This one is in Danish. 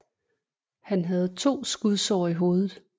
Han havde to skudsår i hovedet